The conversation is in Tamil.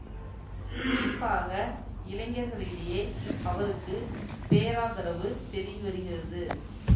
குறிப்பாக இளைஞர்களிடையே அவருக்கு பேராதரவு பெருகி வருகிறது